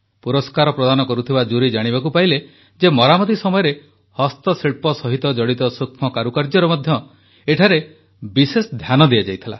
ପୁରସ୍କାର ପ୍ରଦାନ କରୁଥିବା ଜୁରି ଜାଣିବାକୁ ପାଇଲେ ଯେ ମରାମତି ସମୟରେ ହସ୍ତଶିଳ୍ପ ସହିତ ଜଡିତ ସୂକ୍ଷ୍ମ କାରୁକାର୍ଯ୍ୟର ମଧ୍ୟ ଏଠାରେ ବିଶେଷ ଧ୍ୟାନ ଦିଆଯାଇଥିଲା